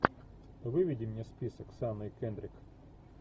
выведи мне список с анной кендрик